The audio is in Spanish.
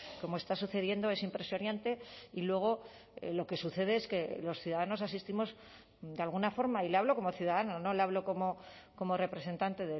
como está sucediendo es impresionante y luego lo que sucede es que los ciudadanos asistimos de alguna forma y le hablo como ciudadano no le hablo como representante